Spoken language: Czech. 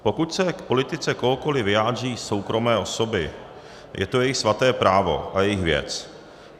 Pokud se k politice kohokoli vyjádří soukromé osoby, je to jejich svaté právo a jejich věc.